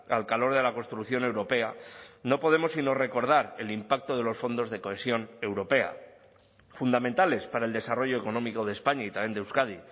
al calor de la construcción europea no podemos sino recordar el impacto de los fondos de cohesión europea fundamentales para el desarrollo económico de españa y también de euskadi